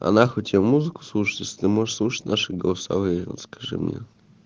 а нахуй тебе музыку слушать если ты можешь слушать наши голосовые вот скажи мне